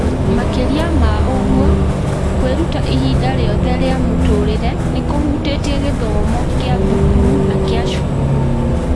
Makĩria ma ũguo, kwĩruta ihinda rĩothe rĩa mũtũũrĩre nĩ kũhutĩtie gĩthomo kĩa thukuru na kĩa cukuru.